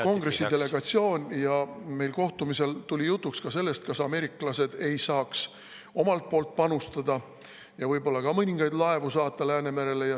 Kongressi delegatsioon ja meil kohtumisel tuli jutuks ka see, kas ameeriklased ei saaks panustada ja saata mõningaid laevu Läänemerele.